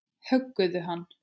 Höggðu hann!